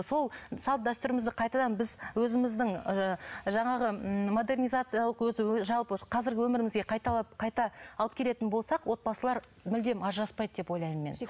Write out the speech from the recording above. сол салт дәстүрімізді қайтадан біз өзіміздің ы жаңағы ы модернизациялық өзі жалпы қазіргі өмірімізге қайталап қайта алып келетін болсақ отбасылар мүлдем ажыраспайды деп ойлаймын мен